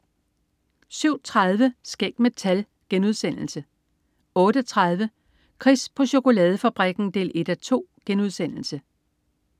07.30 Skæg med tal* 08.30 Chris på chokoladefabrikken 1:2*